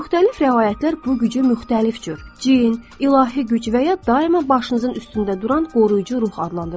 Müxtəlif rəvayətlər bu gücü müxtəlif cür, cin, ilahi güc və ya daima başınızın üstündə duran qoruyucu ruh adlandırırlar.